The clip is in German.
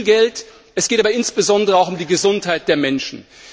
Es geht um viel Geld, es geht aber insbesondere auch um die Gesundheit der Menschen.